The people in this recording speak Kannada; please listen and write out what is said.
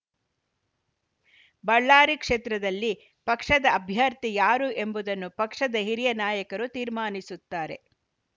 ಬಳ್ಳಾರಿ ಕ್ಷೇತ್ರದಲ್ಲಿ ಪಕ್ಷದ ಅಭ್ಯರ್ಥಿ ಯಾರು ಎಂಬುದನ್ನು ಪಕ್ಷದ ಹಿರಿಯ ನಾಯಕರು ತೀರ್ಮಾನಿಸುತ್ತಾರೆ